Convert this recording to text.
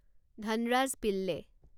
Dhanraj Pillay